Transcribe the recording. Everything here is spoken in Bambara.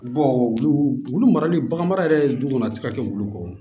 wulu wulu wulu marali baganmara yɛrɛ ye du kɔnɔ a tɛ se ka kɛ wulu kɔ